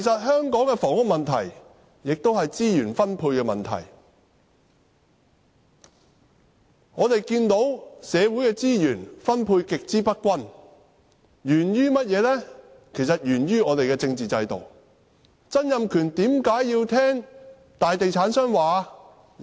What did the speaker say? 香港的房屋問題也是資源分配的問題，社會的資源分配極之不均，實在源於我們的政治制度，曾蔭權為何要聽從大地產商的說話？